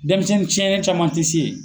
Dɛnmisɛn tiɲɛnen caman te se yen.